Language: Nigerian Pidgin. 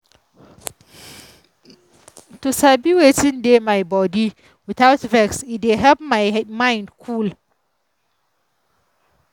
to sabi wetin dey my body without vex e dey help my mind cool.